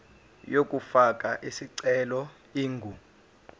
yokufaka isicelo ingu